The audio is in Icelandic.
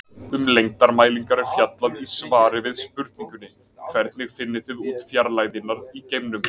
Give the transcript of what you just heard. Um lengdarmælingar er fjallað í svari við spurningunni Hvernig finnið þið út fjarlægðirnar í geimnum?